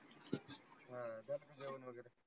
आह झाल का जेवन वगैरे?